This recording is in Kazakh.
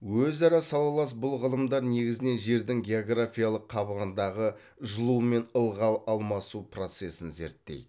өзара салалас бұл ғылымдар негізінен жердің географиялық қабығындағы жылу мен ылғал алмасу процесін зерттейді